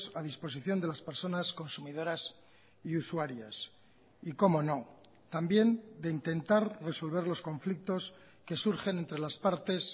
a disposición de las personas consumidoras y usuarias y cómo no también de intentar resolver los conflictos que surgen entre las partes